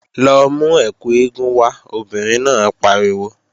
Lọ mú ẹkù eégún wá, obìnrin náà pariwo!